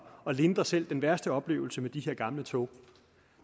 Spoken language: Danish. at lindre selv den værste oplevelse med de her gamle tog